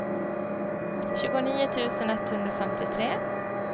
tjugonio tusen etthundrafemtiotre